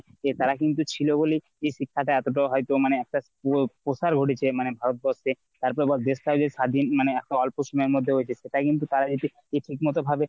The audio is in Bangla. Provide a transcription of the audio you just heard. তারা কিন্তু ছিল বলেই এই শিক্ষা টা এতটা হয়তো মানে একটা school এর প্রসার ঘটেছে। মানে ভারতবর্ষের তারপরে আবার দেশটা যে স্বাধীন মানে এতো অল্প সময়ের মধ্যে হইতেসে সেটা কিন্তু তারা যদি যদি ঠিক মতো ভাবে